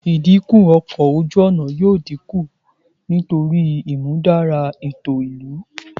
Idinku ọkọ oju-ọna yoo dinku nitori imudara eto ilu